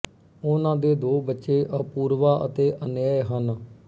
ਉਨ੍ਹਾਂ ਦੇ ਦੋ ਬੱਚੇ ਅਪੂਰਵਾ ਅਤੇ ਅਨੰਯ ਹਨ